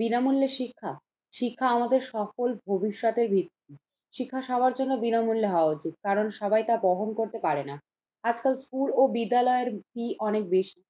বিনামূল্য শিক্ষা, শিক্ষা আমাদের সকল ভবিষ্যতের ভিত্তি, শিক্ষা সবার জন্য বিনামূল্যে হওয়া উচিত, কারণ সবাই তা বহন করতে পারে না। আজকাল স্কুল ও বিদ্যালয়ের ফী অনেক বেশি।